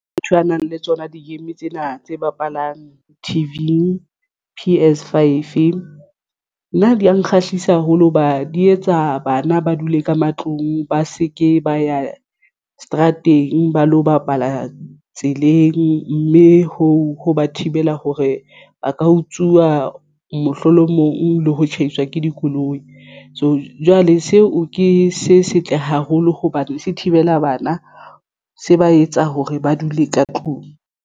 Motho a nang le tsona di-game tsena tse bapalang T_V, P_S five nna di ya nkgahlisang haholo hoba di etsa. Bana ba dule ka matlong, ba se ke ba ya seterateng ba lo bapala tseleng mme hoo ho ba thibela hore ba ka utsuwa mohlolomong le ho tshaiswa ke dikoloi. So, jwale seo ke se setle haholo hobane se thibela bana se ba etsa hore ba dule ka tlung.